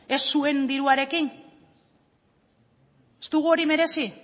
ez zuen diruarekin ez dugu hori merezi